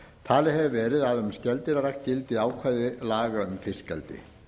talið hefur verið að um skeldýrarækt gildi ákvæði laga um fiskeldi